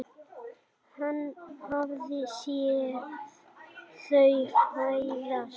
Hann hafði séð þau fæðast.